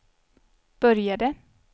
började